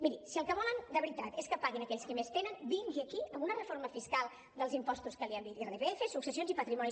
miri si el que volen de veritat és que paguin aquells qui més tenen vingui aquí amb una reforma fiscal dels impostos que li hem dit irpf successions i patrimoni